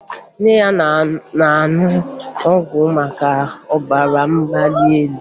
Nne ya na-aṅụ ọgwụ maka ọbara mgbali elu